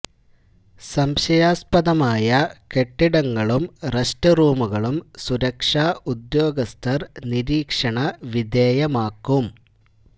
സംശയാസ്പദമായ കെട്ടിടങ്ങളും റെസ്റ്റ് റൂമുകളും സുരക്ഷാ ഉദ്യോഗസ്ഥര് നിരീക്ഷണ വിധേയമാക്കും